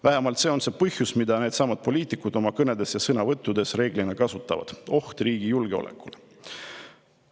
Vähemalt see on see põhjus, mida needsamad poliitikud oma kõnedes ja sõnavõttudes reeglina kasutavad: oht riigi julgeolekule.